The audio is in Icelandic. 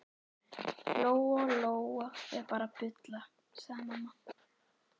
Lóa Lóa er bara að bulla, sagði mamma.